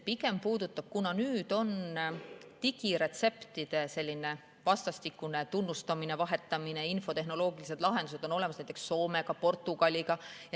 Nüüd meil ju toimub digiretseptide vastastikune tunnustamine ja vahetamine – infotehnoloogilised lahendused on olemas – näiteks Soomega, Portugaliga.